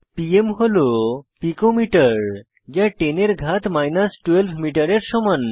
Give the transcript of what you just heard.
PM হল picometer যা 10 এর ঘাত মাইনাস 12 মিটারের সমান